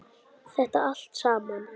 Þetta allt saman.